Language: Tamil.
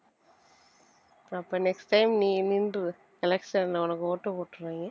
அப்ப next time நீ நின்றுரு election ல உனக்கு ஓட்டு போட்டுருவாங்க